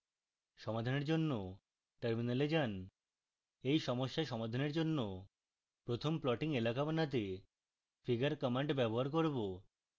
সমাধানের জন্য terminal যান